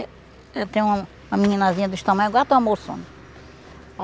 Eu eu tenho uma meninazinha deste tamanho, agora está um moção